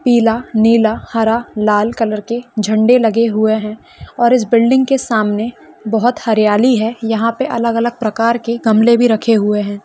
पीला नीला हरा लाल कलर के झंडे लगे हुए हैं और इस बिल्डिंग के सामने बहोत हरियाली है यहाँ पे अलग-अलग प्रकार के गमले भी रखे हुए हैं ।